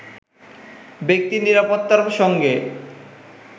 ব্যক্তি নিরাপত্তার সঙ্গে